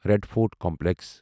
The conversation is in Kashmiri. red Fort complex